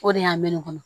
O de y'a mɛn ne kɔnɔ